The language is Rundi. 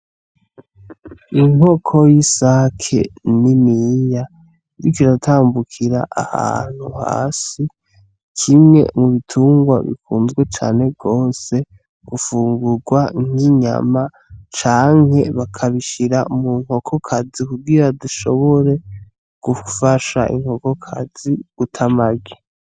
N'inkoko yisake niniya, iriko iratambukira ahantu hasi. Kimwe mu bitungwa bikunzwe cane gose gufungugwa nk'inyama canke baka bishira mu nkokokazi kugira ishobore gufasha inkokokazi guta amagi.